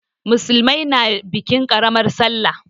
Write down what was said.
Musulmai na bikin ƙaramar sallah.